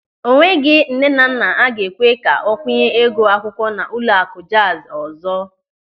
O nweghị nnenanna a ga-ekwe ka ọ kwunye ego akwụkwọ n'ụlọakụ Jazi ọzọ.